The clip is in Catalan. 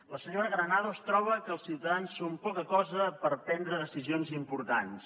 la senyora granados troba que els ciutadans són poca cosa per prendre decisions importants